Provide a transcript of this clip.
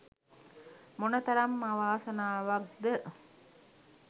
මොනතරම් අවාසනාවක්ද?